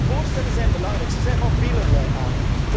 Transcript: Die voorstellen zijn belangrijk. Ze zijn van velerlei